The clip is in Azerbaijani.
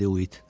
dedi Uit.